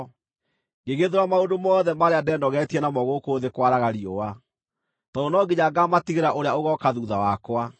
Ngĩgĩthũũra maũndũ mothe marĩa ndenogeetie namo gũkũ thĩ kwaraga riũa, tondũ no nginya ngaamatigĩra ũrĩa ũgooka thuutha wakwa.